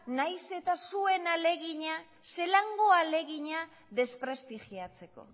nahiz eta zuen ahalegina zelako ahalegina desprestigiatzeko